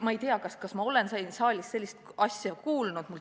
Ma ei tea, kas ma olen siin saalis sellist asja enne kuulnud.